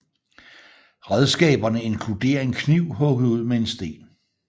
Redskaberne inkluderer en kniv hugget ud med en sten